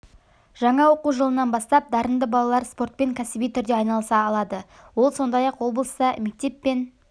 жаңа оқу жылынан бастап дарынды балалар спортпен кәсіби түрде айналыса алады ол сондай-ақ облыста мектеп пен